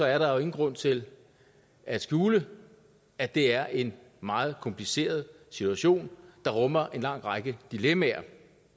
er der jo ingen grund til at skjule at det er en meget kompliceret situation der rummer en lang række dilemmaer